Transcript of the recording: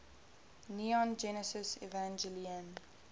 neon genesis evangelion